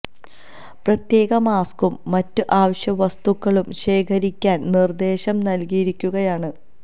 പ്രത്യേക മാസ്ക്കും മറ്റ് അവശ്യ വസ്തുക്കളും ശേഖരിക്കാന് നിര്ദേശം നല്കിയിരിക്കുകയാണ്